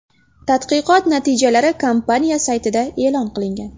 Tadqiqot natijalari kompaniya saytida e’lon qilingan .